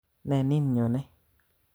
Ne nin nyone?